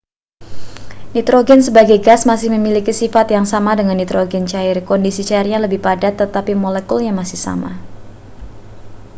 nitrogen sebagai gas masih memiliki sifat yang sama dengan nitrogen cair kondisi cairnya lebih padat tetapi molekulnya masih sama